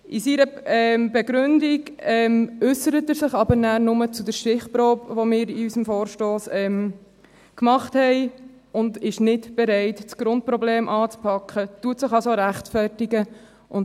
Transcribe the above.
In seiner Begründung äussert er sich aber nur zur Stichprobe, die wir in unserem Vorstoss gemacht haben, und ist nicht bereit, das Grundproblem anzupacken, rechtfertigt sich also.